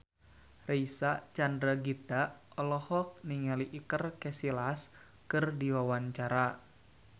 Reysa Chandragitta olohok ningali Iker Casillas keur diwawancara